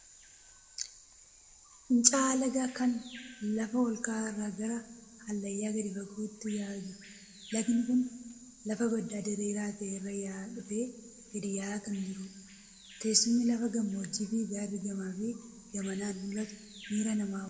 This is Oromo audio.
Fincaa'aa lagaa kan lafa olka'aa irraa gara hallayyaa gadi fagootti yaa'aa jiru. Lagni kun lafa baddaa diriiraa ta'e irra yaa'aa dhufee gadi yaa'aa kan jirudha. Teessumni lafa gammoojjii fi gaarri gamaa fi gamanaan mul'atu miira namaa hawwata.